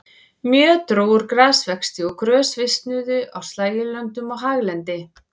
Mjög dró úr grasvexti og grös visnuðu á slægjulöndum og haglendi.